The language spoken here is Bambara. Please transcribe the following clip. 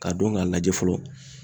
Ka don k'a lajɛ fɔlɔ